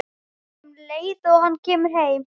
Hann á að hringja um leið og hann kemur heim.